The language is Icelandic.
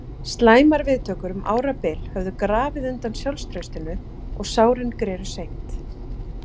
Slæmar viðtökur um árabil höfðu grafið undan sjálfstraustinu og sárin greru seint.